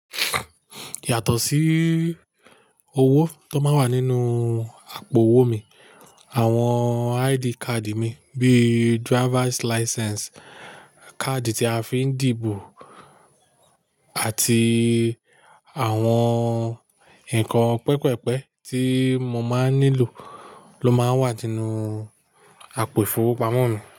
Yàtọ̀ sí owó tó máa ń wà nínú àpò owó mi, àwọn ID card mi bíi driver's license, káàdì tí a fi ń dìbò àti àwọn nǹkan pẹpẹ́pẹ́ tí mo máa ń nílò ló máa ń wà tínú àpò ìfowópamọ́ mi.